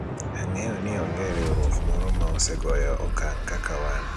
ang'eyo ni onge riwruok moro ma osegoyo okang' kaka wan